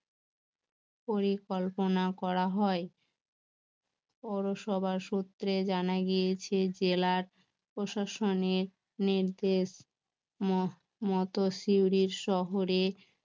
পরিকল্পনা করা হয় পৌরসভার সূত্রে জানা গিয়েছে জেলার প্রশাসনের নির্দেশ মত সিউড়ির শহরে